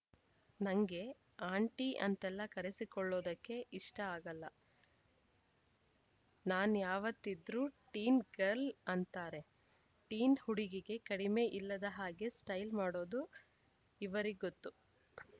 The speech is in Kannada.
ನಂಗೆ ಆಂಟಿ ಅಂತೆಲ್ಲ ಕರೆಸಿಕೊಳ್ಳೋದಕ್ಕೆ ಇಷ್ಟಆಗಲ್ಲ ನಾನ್ಯಾವತ್ತಿದ್ರೂ ಟೀನ್‌ ಗರ್ಲ್ ಅಂತಾರೆ ಟೀನ್‌ ಹುಡುಗಿಗೆ ಕಡಿಮೆ ಇಲ್ಲದ ಹಾಗೆ ಸ್ಟೈಲ್‌ ಮಾಡೋದು ಇವರಿಗೊತ್ತು